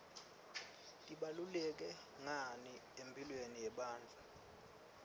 tibaluleke ngani emphilweni yemunifu